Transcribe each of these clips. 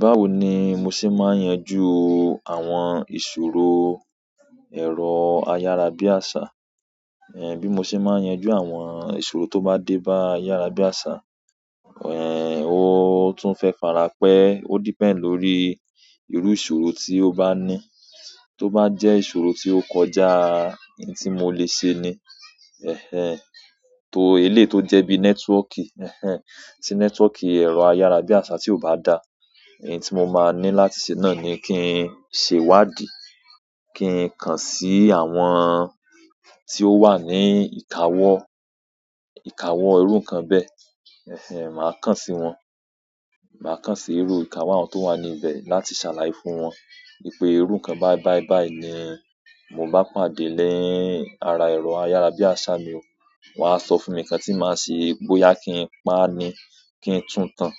Báwo ni mo ṣe máa yanjú àwọn ìṣòro ọrọ ayárabíàsá, bí mo ṣe yanjú àwọn ìṣòro tó bá dé bá ayarabiasa, ó tún fe fara pé, ó depend lórí ìṣòro tó bá ní tí ó ba jẹ ìṣòro ti o kọjá èyí tí mo le ṣe ni eh eh. Eleyi to jẹ bi netwoti ti o jẹ́ eh eh, tí network èrò ayarabiasa tí o ohun tí mo máa ní láti ṣe náà ni kí n ṣe wádìí, kí n kàn sí àwọn tí ó wà ní ìkáwó, ìkáwó irú nkan bẹ́ẹ̀, màá kàn sí wọn. Màá kàn sí irú ìkáwó àwọn tó wà níbẹ̀ láti ṣàlàyé fún wọn wípé irú nkan báyí báíy báyí ni mo bá pàdé lẹ́yìn ara ẹ̀rọ ayárabíàṣá mi ò, won á sọ fún mi nǹkan tí màá ṣe bóyá kí n pa á ni, kí n tún tán,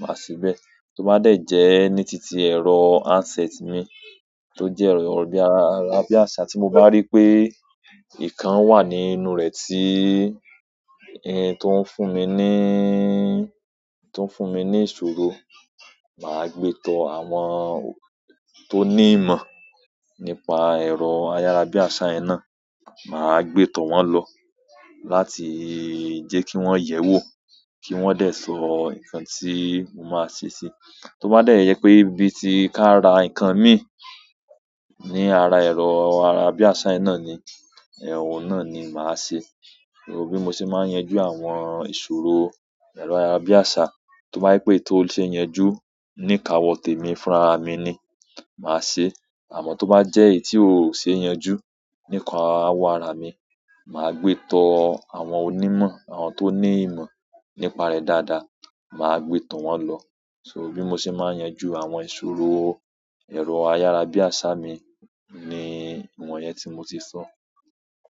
màá ṣe bẹ́ẹ̀. Tó bá dẹ̀ jẹ́ ní tìtí ẹ̀rọ hand set mi, tó jẹ́ ẹ̀rọ bi ayarabiasa tí mo bá rí pé nǹkan wà nínú rẹ̀ tí o ń fún mi ní ìṣòro, màá gbé tó àwọn tó ní ìmọ̀ nípa ẹ̀rọ ayárabíàṣá yen na, màá gbé tó wọn lọ láti jẹ́ kí wọ́n yẹ̀wò, kí wọ́n dẹ̀ sọ nǹkan tí mo máa ṣe si. Tó bá dẹ̀ jẹ pé bíi tí kaara ǹkan mi ní ara ẹ̀rọ ayárabíàṣá yi ná ni, ohun náà ni màá ṣe. So bí mo ṣe máa yanjú àwọn ìṣòro ẹ̀rọ ayárabíàṣá, tó bá je pé èyí tó ṣe yanjú ní ìkáwó tèmi fún ara mi ni, màá ṣe. Àmọ́ tó bá jẹ́ èyí tí ò ṣe yanjú ní ìkáwó ara mi, màá gbé tó àwọn onímọ̀, àwọn tó ní ìmọ̀ nípa rẹ̀ dáadáa, màá gbé tó wọn lọ. So bí mo ṣe máa yanjú àwọn ìṣòro ẹ̀rọ ayárabíàṣá mi ni ìwọ̀n yẹn tí mo ti sọ.